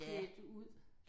Klædt ud